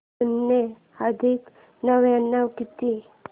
शून्य अधिक नव्याण्णव किती